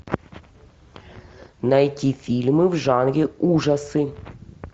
найти фильмы в жанре ужасы